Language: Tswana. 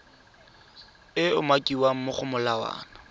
e umakiwang mo go molawana